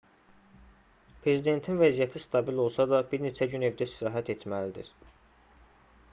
prezidentin vəziyyəti stabil olsa da bir neçə gün evdə istirahət etməlidir